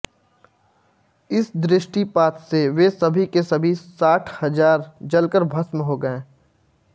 इस दृष्टिपात से वे सभी के सभी साठ हजार जलकर भस्म हो गए